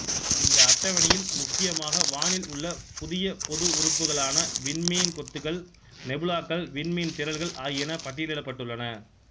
இந்த அட்டவணையில் முக்கியமாக வானில் உள்ள புதிய பொது உறுப்புகளான விண்மீன் கொத்துகள் நெபுலாக்கள்விண்மீன் திறள்கள் ஆகியன பட்டியலிடப்பட்டுள்ளன